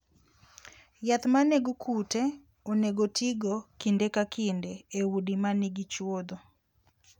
Yath ma nego kute onego otigo kinde ka kinde e udi ma nigi chuodho.